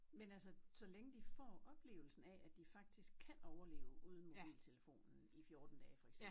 Men altså så længe de får oplevelsen af at de faktisk kan overleve uden mobiltelefonen i 14 dage for eksempel